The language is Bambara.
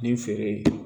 Nin feere